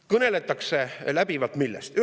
Millest läbivalt kõneldakse?